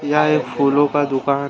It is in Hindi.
यह एक फूलों का दुकान।